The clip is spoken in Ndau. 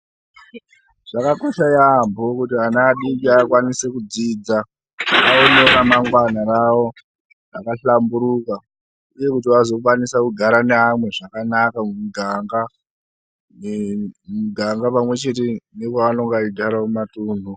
Zvakakosha yambo kuti vana vadiki vakwanise kudzidza vawanewo ramangwana ravo rakahlamburuka uye kuti vazokwanisa kugara nevamwe zvakanaka mundarawunda pamwe chete nepavanenge vachigara mumatunhu.